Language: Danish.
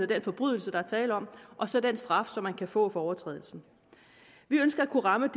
den forbrydelse der er tale om og så den straf som man kan få for overtrædelsen vi ønsker at kunne ramme